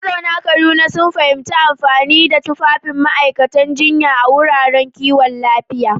Mazauna Kaduna sun fahimci amfanin tufafin ma’aikatan jinya a wuraren kiwon lafiya.